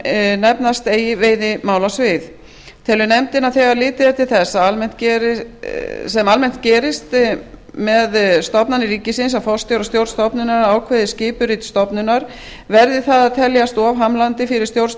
sem nefnast eigi veiðimálasvið telur nefndin að þegar litið er til þess sem almennt gerist með stofnanir ríkisins að forstjóri og stjórn stofnunar ákveða skipurit stofnunar verði það að teljast of hamlandi fyrir stjórn